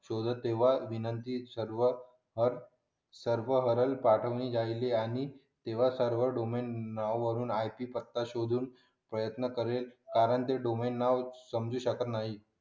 शोधत तेव्हा विनंती सर्व सर्व हरण पाठवणे झाली आणि सर्वत्र डोमेन वरून पत्ता शोधून प्रयत्न करेल कारण ते डोमेन नाव